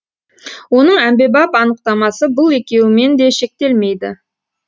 оның әмбебап анықтамасы бұл екеуімен де шектелмейді